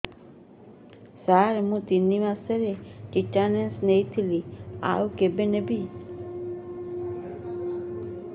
ସାର ମୁ ତିନି ମାସରେ ଟିଟାନସ ନେଇଥିଲି ଆଉ କେବେ ନେବି